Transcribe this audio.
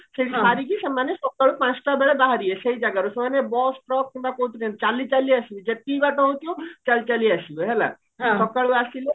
ସେଇଠି ସରିକି ସେମାନେ ସକାଳ ପାଞ୍ଚଟା ବେଳେ ବାହାରିବେ ସେଇମ ଜାଗରୁ ସେମାନେ bus truck କିମ୍ବା କଉଥିରେ ନ୍ନୁହେ ଚାଲି ଚାଲି ଆସିବେ ଯେତିକି ବାଟ ହଉଥିବା ଚାଲି ଚାଲି ଆସିବେ ହେଲା ସକାଳୁ ଆସିଲେ